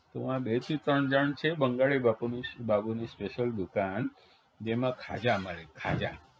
વા બેથી ત્રણ જણ છે બંગાળી બાપુની બાપુની special દુકાન જેમાં ખાજા મળે ખાજા